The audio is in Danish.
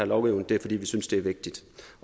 lovgivning det er fordi vi synes det er vigtigt